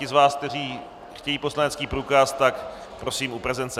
Ti z vás, kteří chtějí poslanecký průkaz, tak prosím u prezence.